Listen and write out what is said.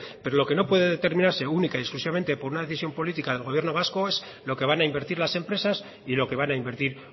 pero lo que no puede determinarse única y exclusivamente por una decisión política del gobierno vasco es lo que van a invertir las empresas y lo que van a invertir